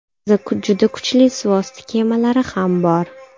Bizda juda kuchli suvosti kemalari ham bor.